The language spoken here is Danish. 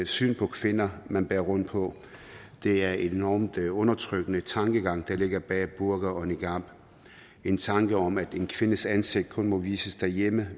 syn på kvinder man bærer rundt på det er en enormt undertrykkende tankegang der ligger bag burka og niqab en tanke om at den kvindes ansigt kun må vises derhjemme